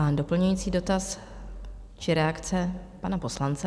A doplňující dotaz či reakce pana poslance?